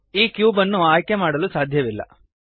ಈ ಕ್ಯೂಬ್ ಅನ್ನು ಆಯ್ಕೆಮಾಡಲು ಸಾಧ್ಯವಿಲ್ಲ